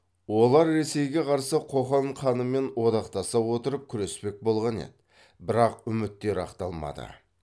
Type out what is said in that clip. олар ресейге қарсы қоқан ханымен одақтаса отырып күреспек болған еді бірақ үміттері ақталмады